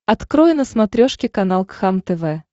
открой на смотрешке канал кхлм тв